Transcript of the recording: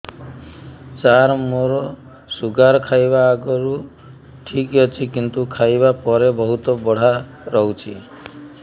ସାର ମୋର ଶୁଗାର ଖାଇବା ଆଗରୁ ଠିକ ଅଛି କିନ୍ତୁ ଖାଇବା ପରେ ବହୁତ ବଢ଼ା ରହୁଛି